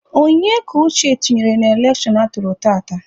Onye ka Uche tụnyere n'elekshon atụrụ tata?